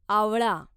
आवळा